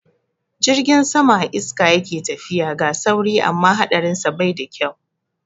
Jirgin sama a iska yake tafiya, ga sauri amma haɗarinsa bai da kyau.